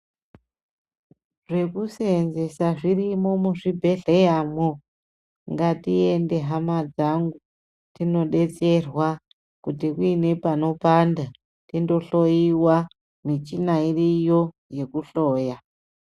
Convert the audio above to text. Zvkusenzesa zvirimo muzvibhedhleyamwo ngatiende hama dzangu tinodetserwa kuti uine panopanda tindohloyiwa michina iriyo yekuhloya.